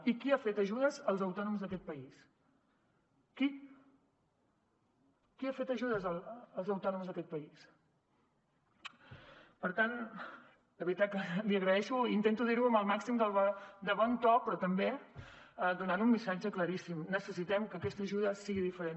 i qui ha fet ajudes als autònoms d’aquest país qui qui ha fet ajudes als autònoms a aquest país per tant de veritat que l’hi agraeixo i intento dir ho amb el màxim de bon to però també donant un missatge claríssim necessitem que aquesta ajuda sigui diferent